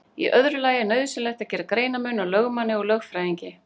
Í öðru lagi er nauðsynlegt að gera greinarmun á lögmanni og lögfræðingi.